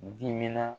Diminna